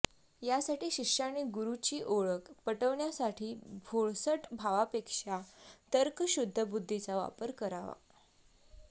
यासाठी शिष्याने गुरूची ओळख पटविण्यासाठी भोळसट भावापेक्षा तर्कशुद्ध बुद्धीचा वापर करावा